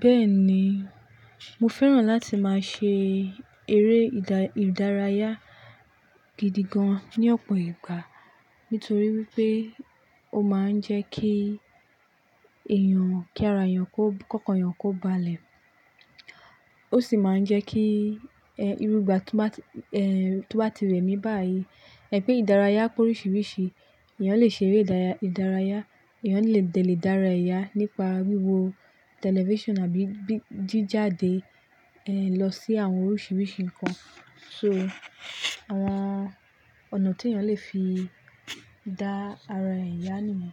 Bẹ́ẹ̀ni, mo fẹ́ràn láti máa ṣe eré ìdárayá gidi gan ní ọ̀pọ̀ ìgbà nítorí wípé ó máa ń jẹ́ kí èèyàn kí ara èèyàn kó, kókan èèyàn kó ba lẹ̀. Ó sì máa ń jẹ́ kí, ẹ́, irú ìgbà tó bá ti rẹmi bá yìí. Ẹ̀ pé ìdárayá pé oríṣiríṣi èèyàn lè ṣe eré ìdárayá, èèyàn lè dé lè dárà ẹ̀ yà nípa wíwo tẹlifíṣàn àbí jí jáde, ẹ́, lọ sí àwọn oríṣiríṣi nǹkan. So àwọn ọ̀nà tí èèyàn lè fi dá ara ẹ̀yà nìyẹn.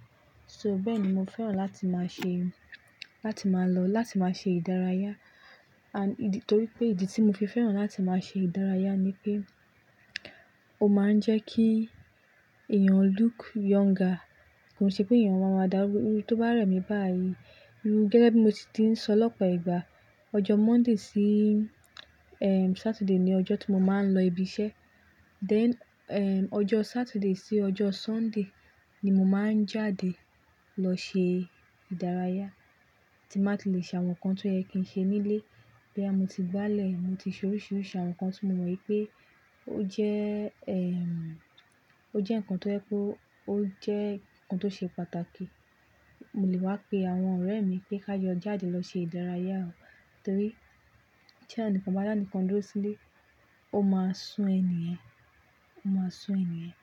So bẹ́́ẹ̀ ni mo fẹ́ràn láti máa ṣe, láti máa lọ láti máa ṣe ìdárayá. And nítorí pé ìdí tí mo fi fẹ́ràn láti máa ṣe ìdárayá ni pé ó máa ń jẹ́ kí èèyàn look younger. Kò n se pé èèyàn máa ma dàrúgbó, irú tó bá rẹmi bá yìí. Gẹ́gẹ́ bí mo si ti ń sọ lọ́pọ̀ ìgbà, ọjọ́ Monday sí, ẹ́m, Saturday ni ọjọ́ tó mo máa ń lọ ibi iṣẹ́. Then, ẹ́m, ọjọ́ Saturday sí ọjọ́ Sunday ni mo máa ń jáde lọ ṣe ìdárayá tí máa ti le ṣe àwọn nǹkan tó yẹ kí n ṣe nílé. Bóyá mo ti gbálẹ̀, mo ti ṣe oríṣiríṣi àwọn nǹkan tí mo mọ̀ pé ó jẹ́, ẹ́m, ó jẹ́ nǹkan tó yẹ kó, ó jẹ́ nǹkan tó ṣe pàtàkì. Mo lè wá pe àwọn ọ̀rẹ́ mi pé ká jọ jáde lọ ṣe ìdárayá, torí tí ẹnikan bá dánikan dúró sílé, ó máa sún ẹni yẹn, ó máa sún ẹni yẹn.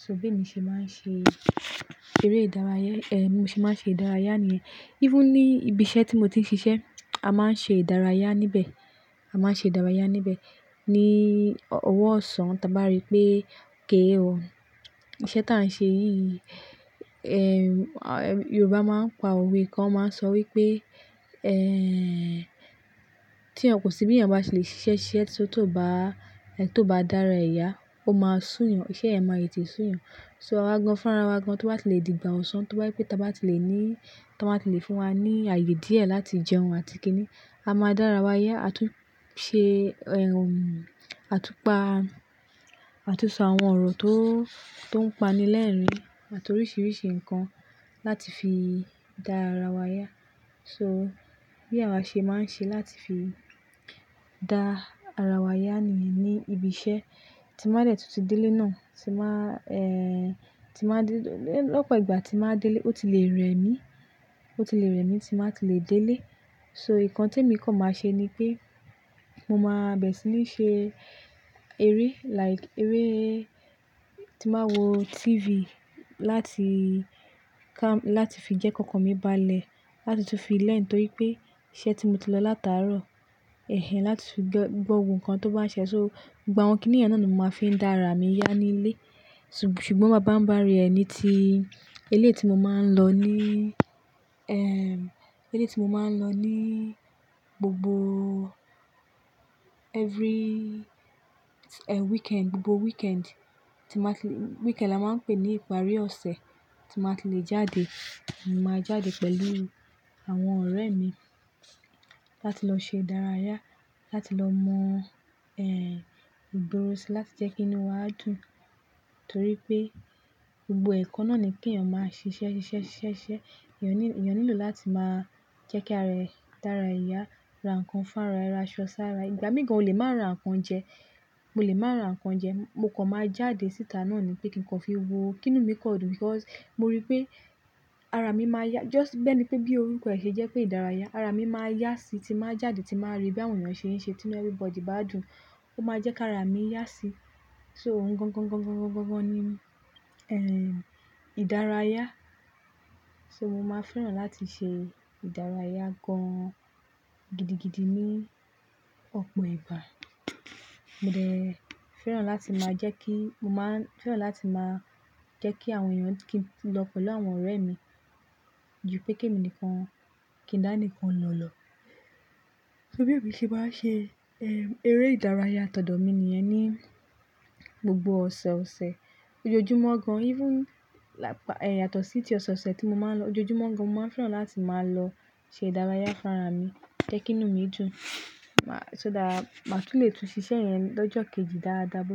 So bí èmi ṣe máa ń ṣe eré ìdárayá, ẹ́, bí mo ṣe máa ń ṣe ìdárayá nìyẹn. Even ní ibi iṣẹ́ tí mo ti ń ṣiṣẹ́, a máa ń ṣe ìdárayá níbẹ̀, a máa ń ṣe ìdárayá níbẹ̀. Ni ọwọ́ ọ̀sán tà bá rí pé ok o, iṣẹ́ tí a ń ṣe yìí, ẹ́m, Yorùbá máa ń pa òwe kan, wón máa ń sọ wípé, ẹ́m, tí ẹ́ kò sí bí èèyàn bá ṣe le ṣ'iṣẹ́ ṣ'iṣẹ́ tó bá, tó bá dára ẹ̀ yà, ó máa sú yàn, iṣẹ́ yẹn máa tẹtè sú yàn. So awa gan fún ara wa gan tó bá ti le di ìgbà ọ̀sán tó bá je pé ta bá ti le ní, tán báa ti le fún wa ní ààyè díẹ̀ láti jẹun àti kíni, a máa dára wa yá àtún ṣe, ẹ́m, àtúpa, àtúnsọ àwọn ọ̀rọ̀ tó, tó ń pani lẹ́ẹ̀rín àti oríṣiríṣi nǹkan láti fi dá ara wa yá. So bí àwa ṣe máa ń ṣe láti fi dá ara wa yá nìyẹn ní ibi iṣẹ́ tí máa dẹ̀ tún ti délé náà, tí máa, ẹ́m, tí máa dé lọ́pọ̀ ìgbà tí máa délé ó ti lè rẹmi, ó ti lè rẹmi tí n bá ti lè délé. So nǹkan tí èmi kàn máa ṣe ni pé mo máa bẹ̀rẹ̀ sí ní ṣe eré like eré tí máa wo TV láti kám-- láti fi jẹ́ kókàn mi bá lẹ̀, láti tún fi learn nítorí pé iṣẹ́ tí mo ti lọ láti àárọ̀, ẹ́hẹ́n, láti fi gbọ́ gbogbo nnkan tó bá ń ṣẹ. So gbogbo àwọn kíni yẹn náà ni mo máa fi ń dá ara mi yá nílé. Ṣùgbọ́n babańbárí ẹ ni tí eléyìí tí mo máa ń lọ ní, ẹ́m, eléyìí tí mo máa ń lọ ní gbogbo every, ẹ́m, weekend, gbogbo weekend tí máa ti-- weekend la máa ń pè ní ìparí ọ̀sẹ̀ tí máa ti le jáde. Mo máa jáde pẹ̀lú àwọn ọ̀rẹ́ mi láti lọ ṣe ìdárayá, láti lọ mọ́, ẹ́m, ìgboro sí láti jẹ́ kí inú wa dùn. Nítorí pé gbogbo ẹ̀kọ́ náà ni kí èèyàn máa ṣ'iṣẹ́, ṣ'iṣẹ́, ṣ'iṣẹ́. Èèyàn nílò láti máa jẹ́ kí ara rẹ̀ dára ẹ̀yà, ra nǹkan fún ara ẹ, ra aṣọ sí ara ẹ. Ìgbà míì gan ò lè máa rán nǹkan jẹ, mo lè máa rán nǹkan jẹ. Mo kàn máa jáde síta náà ni pé kí n kọ́ fi wo kí inú mi kọ́ dùn because mo rí pé ara mi máa yá. Just bi ẹ̀nipé bí orúkọ ẹ̀ ṣe jẹ́ pé ìdárayá, ara mi máa yá sí tí n bàá jáde tí n bàá rí bí àwọn èèyàn ṣe ń ṣe tí inú everybody bá dùn, ó máa jẹ́ kí ara mi yá sí. So òun gan gan gan gan gan gan gan ni, ẹ́m, ìdárayá. So mo máa fẹ́ràn láti ṣe ìdárayá gan gidigidi ní ọ̀pọ̀ ìgbà. Mo dẹ̀ fẹ́ràn láti máa jẹ́ kí, mo máa ń fẹ́ràn láti máa jẹ́ kí àwọn èèyàn kí n lọ pẹ̀lú àwọn ọ̀rẹ́ mi ju pé kí èmi nìkan kí ń dá ni kan lọ lọ. So bí èmi ṣe máa ń ṣe, ẹ́m, eré ìdárayá tọ̀dọ̀ mi nìyẹn ní gbogbo ọ̀sẹ̀ ọ̀sẹ̀. Ojoojúmọ́ gan even lát-- yàtọ̀ sí ti ọ̀sọ̀ọ̀sẹ̀ tí mo máa ń lọ ojoojúmọ́ gan mo máa fẹ́ràn láti máa lọ ṣe ìdárayá fún ara mi, jẹ́ kí inú mi dùn. So that màá tún lè tún ṣiṣẹ́ yẹn lọ́jọ́ kejì dáadáa bó ṣe.